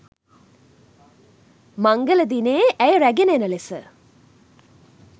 මංගල දිනයේ ඇය රැගෙන එන ලෙස